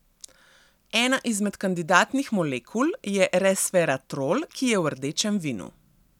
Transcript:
Ena izmed kandidatnih molekul je resveratrol, ki je v rdečem vinu.